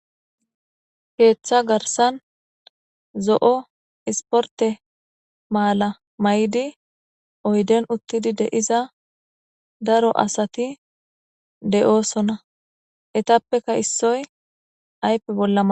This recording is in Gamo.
Keetha garsan zo'o isporte maala mayidi oyden uthidi de'iza daro asati de'osona eetapeka issoy ayfe bola manaxire wothides.